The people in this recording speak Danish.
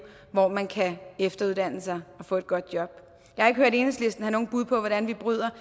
hvor man kan efteruddanne sig og få et godt job jeg har ikke hørt enhedslisten have nogle bud på hvordan vi bryder